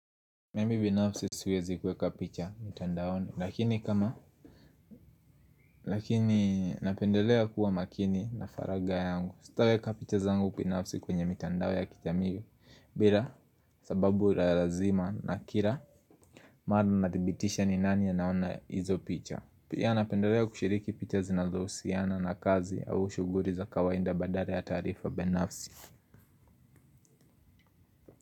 Mimi binafsi siwezi kuweka picha mitandaoni lakini kama lakini napendelea kuwa makini na faragha yangu sitaweka picha zangu binafsi kwenye mitandao ya kijamii bila sababu ya lazima na kila mara nathibitisha ni nani anaona hizo picha pia napendelea kushiriki picha zinazohusiana na kazi au shughuli za kawaida badala ya taarifa binafsi.